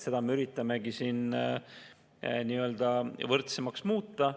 Seda me üritamegi võrdsemaks muuta.